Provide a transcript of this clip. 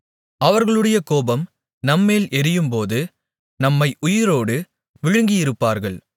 அவர்களுடைய கோபம் நம்மேல் எரியும்போது நம்மை உயிரோடு விழுங்கியிருப்பார்கள்